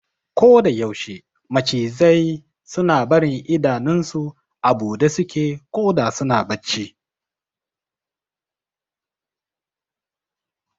Koda yaushe macizai suna barin idanun su a buɗe suke koda suna bacci